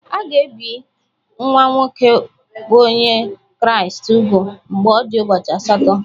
A ga-ebi nwa nwoke bụ́ Onye Kraịst úgwù mgbe ọ dị ụbọchị asatọ